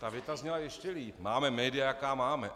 Ta věta zněla ještě líp - máme média, jaká máme.